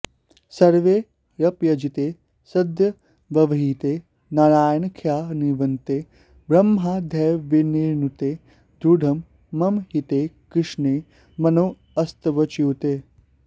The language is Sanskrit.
सर्वैरप्यजिते सदव्यवहिते नारायणाख्यान्विते ब्रह्माद्यैर्विनुते दृढं मम हिते कृष्णे मनोऽस्त्वच्युते